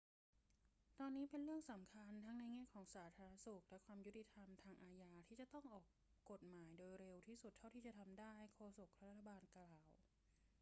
ตอนนี้เป็นเรื่องสำคัญทั้งในแง่ของสาธารณสุขและความยุติธรรมทางอาญาที่จะต้องออกกฎหมายโดยเร็วที่สุดเท่าที่จะทำได้ โฆษกรัฐบาลกล่าว